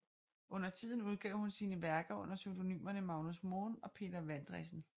Undertiden udgav hun sine værker under pseudonymerne Magnus Moen og Peter Vandresen